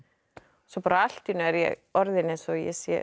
svo allt í einu er ég orðin eins og ég sé